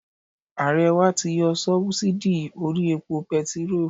Ààrẹ wa ti yọ sóbúsídì orí epo petiró